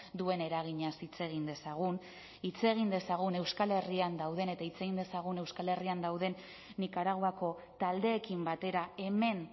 duen eraginaz hitz egin dezagun hitz egin dezagun euskal herrian dauden eta hitz egin dezagun euskal herrian dauden nikaraguako taldeekin batera hemen